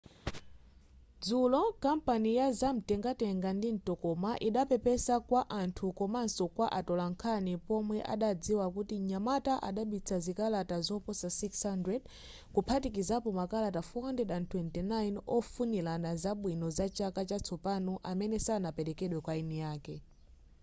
dzulo kampani ya zamtengatenga ndi mtokoma idapepesa kwa anthu komaso kwa atolankhani pomwe adadziwa kuti mnyamata adabisa zikalata zoposa 600 kuphatikizapo makalata 429 ofunirana zabwino za chaka chatsopano amene sanaperekedwe kwa eni ake